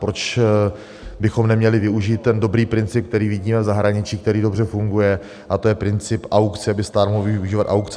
Proč bychom neměli využít ten dobrý princip, který vidíme v zahraničí, který dobře funguje, a to je princip aukce, aby stát mohl využívat aukce.